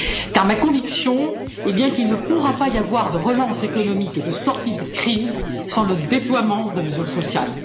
Car ma conviction est bien qu'il ne pourra pas y avoir de relance économique et de sortie de crise sans le déploiement de mesures sociales.